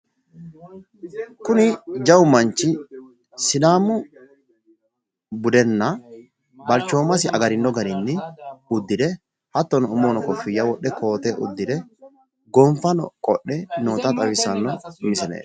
kuni jawu manchi sidaamu budenna balchoomasi agarino garinni uddire hatono umohono koffiyya wodhe kooteno uddire gonfano udire noota xawissanno misileeti.